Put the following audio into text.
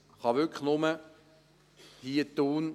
Dies kann hier wirklich nur Thun machen.